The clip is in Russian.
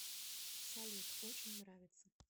салют очень нравится